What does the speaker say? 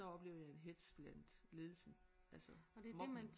Så oplevede jeg en hetz blandt ledelsen altså mobning